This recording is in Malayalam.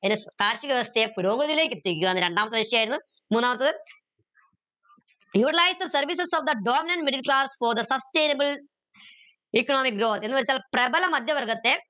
കാർഷിക വ്യവസ്ഥയെ പുരോഗതിലേക്ക് എത്തിക്കുക എന്ന് രണ്ടാമത്തെ ലക്ഷ്യായിരുന്നു മൂന്നാമത്തത് utilise the services of the middle class for the sustainable economic grow എന്ന് വെച്ചാൽ പ്രബല മധ്യവർഗത്തെ